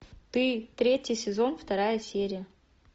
ты третий сезон вторая серия